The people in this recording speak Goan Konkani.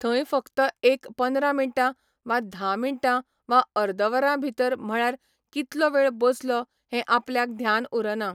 थंय फकत एक पंदरां मिनटां वा धा मिनटां वा अर्द वरां भितर म्हळ्यार कितलो वेळ बसलो हे आपल्याक ध्यान उरना